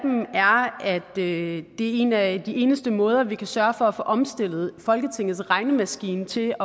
at det er en af de eneste måder vi kan sørge for at få omstillet folketingets regnemaskine til